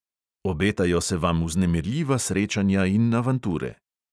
Obetajo se vam vznemirljiva srečanja in avanture.